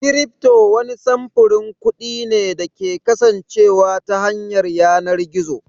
Cryfto wani samfurin kuɗi ne da ke kasancewa ta yanar gizo